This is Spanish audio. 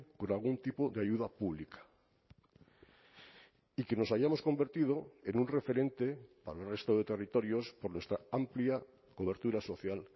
con algún tipo de ayuda pública y que nos hayamos convertido en un referente para el resto de territorios por nuestra amplia cobertura social